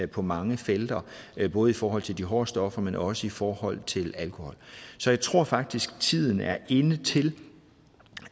på mange felter både i forhold til de hårde stoffer men også i forhold til alkohol så jeg tror faktisk tiden er inde til